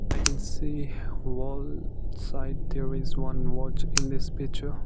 i can see wall side there is one watch in this picture.